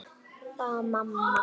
Það var mamma.